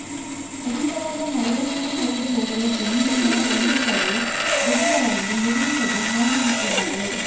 ಅಧಿಕವಾದ ಮಳೆಯ ನೀರು ಹರಿದು ಹೋಗಲು ಜಮೀನಿನ ಒಂದು ಕಡೆ ಬದುಗಳನ್ನು ನಿರ್ಮಿಸದೇ ಹಾಗೇ ಬಿಟ್ಟಿದ್ದಾರೆ